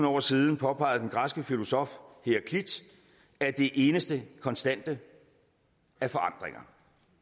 år siden påpegede den græske filosof heraklit at det eneste konstante er forandringer